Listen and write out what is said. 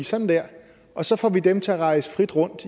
sådan der og så får vi dem til at rejse frit rundt